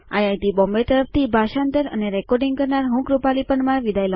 IIT Bombay તરફથી ભાષાંતર અને રેકોર્ડીંગ કરનાર હું છું કૃપાલી પરમાર